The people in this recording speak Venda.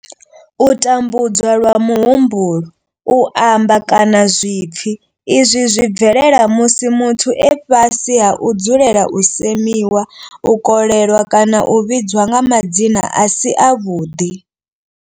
U tambudzwa lwa muhumbulo, u amba, kana zwipfi izwi zwi bvelela musi muthu e fhasi ha u dzulela u semiwa, u kolelwa kana u vhidzwa nga madzina a si avhuḓi.